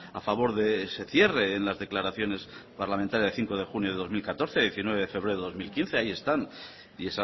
a favor de ese cierre en las declaraciones parlamentarias de cinco de junio de dos mil catorce diecinueve de febrero de dos mil quince ahí están y